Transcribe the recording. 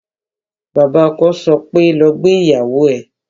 Bàbá ọkọ sọ pé "lọ gbé ìyàwó ẹ"